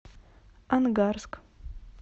ангарск